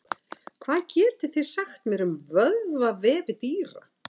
hvað getið þið sagt mér um vöðvavefi dýra